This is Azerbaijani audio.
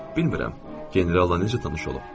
Bilmirəm, generalla necə tanış olub.